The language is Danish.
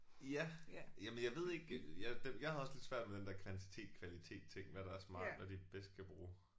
Ja. Jamen jeg ved ikke øh jeg det jeg havde også lidt svært med den der kvantitet kvalitet ting hvad der er smart hvad de bedst kan bruge